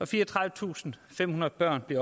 fireogtredivetusinde og femhundrede børn